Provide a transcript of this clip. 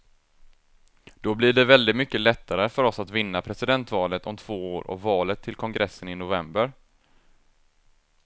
Då blir det väldigt mycket lättare för oss att vinna presidentvalet om två år och valet till kongressen i november.